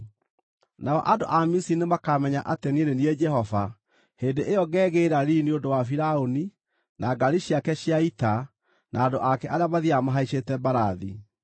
Nao andũ a Misiri nĩmakamenya atĩ niĩ nĩ niĩ Jehova hĩndĩ ĩyo ngegĩĩra riiri nĩ ũndũ wa Firaũni, na ngaari ciake cia ita na andũ ake arĩa mathiiaga mahaicĩte mbarathi.”